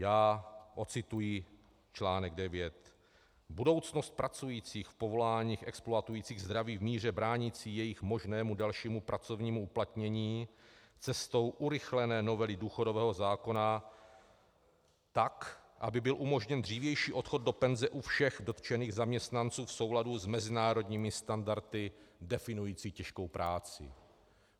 Já odcituji článek 9: Budoucnost pracujících v povoláních exploatujících zdraví v míře bránící jejich možnému dalšímu pracovnímu uplatnění cestou urychlené novely důchodového zákona, tak aby byl umožněn dřívější odchod do penze u všech dotčených zaměstnanců v souladu s mezinárodními standardy definujícími těžkou práci.